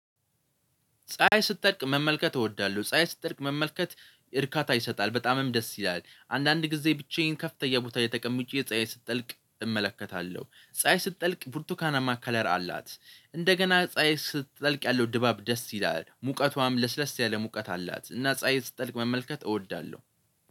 ፀሀይ ስትጠልቅ መመልከት እወዳለሁ ፀሀይ ስትጠልቅ መመልከት እርካታ ይሰጣል በጣምም ደስ ይላል። አንዳንድ ጊዜ ብቻዬን ከፍተኛ ቦታ ላይ ተቀምጬ ፀሀይ ስትጠልቅ እመለከታለሁ። ፀሀይ ስትጠልቅ ብርቱካናማ ከለር አላት። እንደገና ፀሀይ ስትጠልቅ ያለው ድባብ ደስ ይላል ሙቀቷም ለስለስ ያለ ሙቀት አላት። እና ፀሀይ ስትጠልቅ መመልከት እወዳለሁ